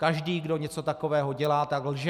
Každý, kdo něco takového dělá, tak lže.